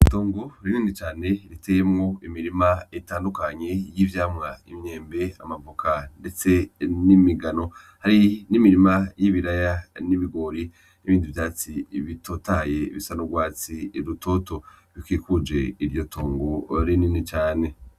Itongo rinini cane riteyemwo imirima itandukanye y'ivyamwa imyembe, amavoka ,ndetse n'imigano hari n'imirima y'ibiraya n'ibigori n'ibindi vyatsi bitotaye bisa n'ugwatsi rutoto bikikuje iryo tongo rinini cane.